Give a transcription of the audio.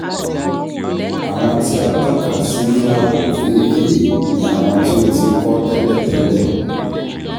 Àwọn tí a tọ́ka sí ní àwọ̀ òfééfèé ni àwọn tí o ti kọ́ tẹ́lẹ̀ tẹ́lẹ̀.